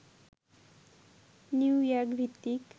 New York ভিত্তিক